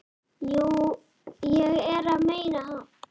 Jú, ég er að meina það.